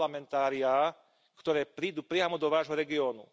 Parlamentáriá, ktoré prídu priamo do vášho regiónu.